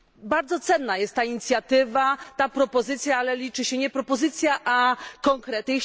Bardzo cenna jest ta inicjatywa, ta propozycja, ale liczy się nie propozycja, a konkrety.